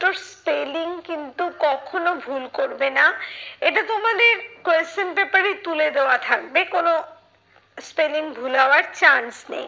spelling কিন্তু কখনো ভুল করবে না। এটা তোমাদের question paper এ তুলে দেওয়া থাকবে কোনো spelling ভুল হওয়ার chance নেই।